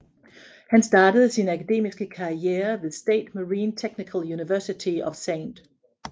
Han startede sin akademiske karriere ved State Marine Technical University of St